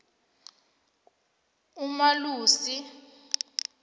umalusi